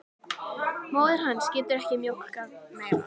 Móðir hans getur ekki mjólkað meira.